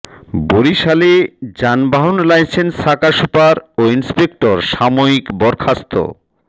বরিশালে যানবাহন লাইসেন্স শাখা সুপার ও ইন্সপেক্টর সাময়িক বরখাস্ত